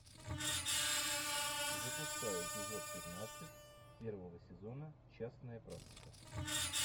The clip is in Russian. запускай эпизод пятнадцать первого сезона частная практика